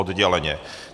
Odděleně.